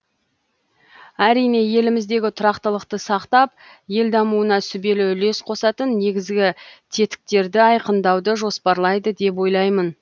әрине еліміздегі тұрақтылықты сақтап ел дамуына сүбелі үлес қосатын негізгі тетіктерді айқындауыды жоспарлайды деп ойлаймын